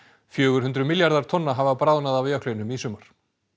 fjögur hundruð milljarðar tonna hafa bráðnað af jöklinum í sumar